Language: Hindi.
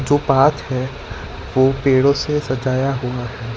जो पाथ है वो पेड़ों से सजाया हुआ है।